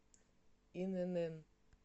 инн